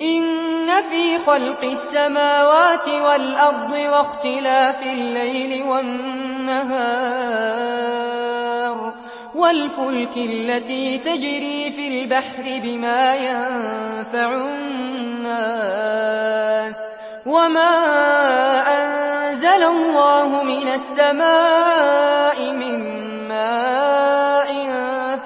إِنَّ فِي خَلْقِ السَّمَاوَاتِ وَالْأَرْضِ وَاخْتِلَافِ اللَّيْلِ وَالنَّهَارِ وَالْفُلْكِ الَّتِي تَجْرِي فِي الْبَحْرِ بِمَا يَنفَعُ النَّاسَ وَمَا أَنزَلَ اللَّهُ مِنَ السَّمَاءِ مِن مَّاءٍ